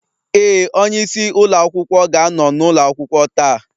Ee, onyeisi ụlọ akwụkwọ ga-anọ n'ụlọ akwụkwọ taa